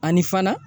Ani fana